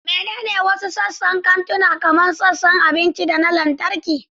Menene wasu sassan kantuna, kamar sassan abinci da na lantarki?